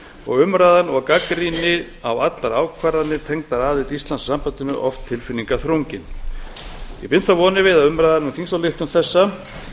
og umræðan og gagnrýni á allar ákvarðanir tengdar aðild íslands að sambandinu oft tilfinningaþrungin ég bind þó vonir við að umræðan um þingsályktun þessa alla vega